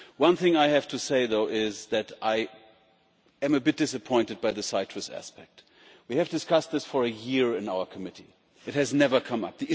One thing I have to say, though, is that I am a bit disappointed by the citrus aspect. We have discussed this for a year in our committee and it has never come up.